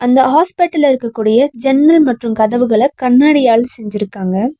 இந்த ஹாஸ்பிடல்ல இருக்கக்கூடிய ஜன்னல் மற்றும் கதவுகல கண்ணாடியால் செஞ்சிருக்காங்க.